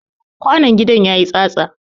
Kwanon gidan ya yi tsatsa.